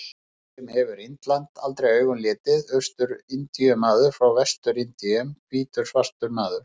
Indverji sem hefur Indland aldrei augum litið, Austur-Indíu-maður frá Vestur-Indíum, hvítur svartur maður.